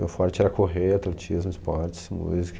Meu forte era correr, atletismo, esportes, música.